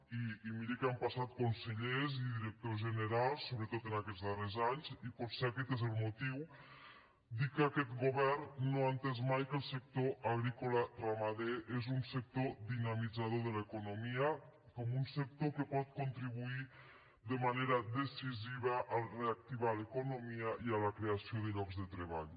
i miri que han passat consellers i directors generals sobretot en aquests darrers anys i potser aquest n’és el motiu dic que aquest govern no ha entès mai que el sector agrícola ramader és un sector dinamitzador de l’economia com un sector que pot contribuir de manera decisiva a reactivar l’economia i a la creació de llocs de treball